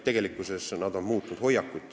Tegelikkuses on nad muutnud hoiakut.